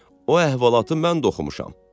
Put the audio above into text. O əhvalatı mən də oxumuşam.